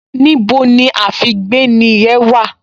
Níbo ni àfígbéni yẹn wà?